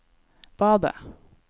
badet